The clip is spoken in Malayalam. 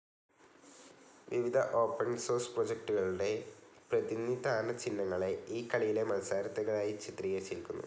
വിവിധ ഓപ്പൻ സോഴ്സ് പ്രോജക്ടുകളുടെ, പ്രതിനിധാന ചിഹ്നങ്ങളെ ഈ കളിയിലെ മത്സരാർഥികളായി ചിത്രീകരിച്ചിരിക്കുന്നു.